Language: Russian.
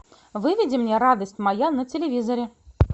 выведи мне радость моя на телевизоре